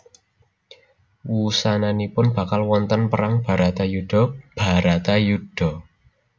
Wusananipun bakal wonten perang Bratayuda Bharatayuddha